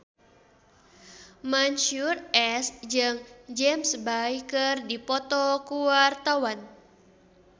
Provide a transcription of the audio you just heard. Mansyur S jeung James Bay keur dipoto ku wartawan